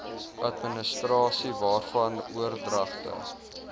administrasie waarvan oordragte